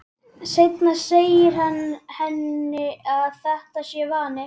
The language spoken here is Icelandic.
Seinna segir hann henni að þetta sé vani.